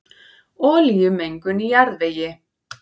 Olíumengun í jarðvegi